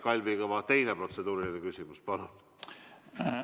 Kalvi Kõva, teine protseduuriline küsimus, palun!